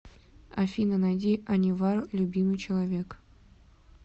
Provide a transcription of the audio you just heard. афина найди анивар любимый человек